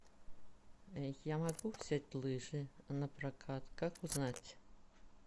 я могу взять лыжи напрокат как узнать